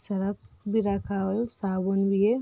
Surf भी रखा साबुन भी है।